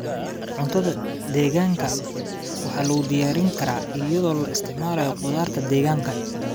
Cuntada deegaanka waxaa lagu diyaarin karaa iyadoo la isticmaalayo khudaarta deegaanka.